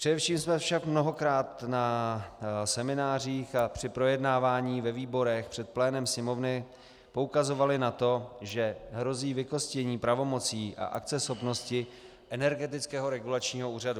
Především jsme však mnohokrát na seminářích a při projednávání ve výborech před plénem Sněmovny poukazovali na to, že hrozí vykostění pravomocí a akceschopnosti Energetického regulačního úřadu.